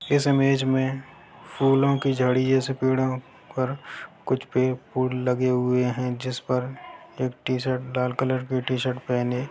इस इमेज में फूलो की झड़ी जैसे पेड़ो पर कुछ पेड़ फूल लगे हुए हैं जिसपर एक टी-शर्ट लाल कलर के टी-शर्ट पहने--